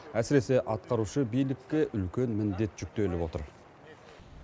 әсіресе атқарушы биілікке үлкен міндет жүктеліп отыр